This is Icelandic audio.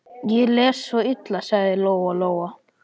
Ég les svo illa, sagði Lóa-Lóa.